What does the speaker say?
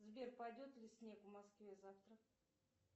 сбер пойдет ли снег в москве завтра